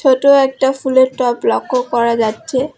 ছোট একটা ফুলের টব লক্ষ্য করা যাচ্ছে।